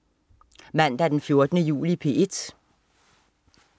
Mandag den 14. juli - P1: